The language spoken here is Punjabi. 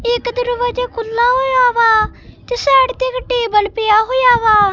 ਇਕ ਦਰਵਾਜਾ ਖੁੱਲਾ ਹੋਇਆ ਵਾ ਤੇ ਸਾਈਡ ਤੇ ਇੱਕ ਟੇਬਲ ਪਿਆ ਹੋਇਆ ਵਾ।